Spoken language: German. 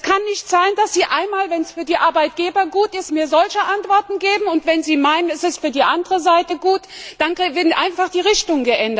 Es kann nicht sein, dass Sie einmal, wenn es für die Arbeitgeber gut ist, mir eine solche Antwort geben, und wenn Sie meinen, dass es für die andere Seite gut ist, ändern Sie einfach die Richtung.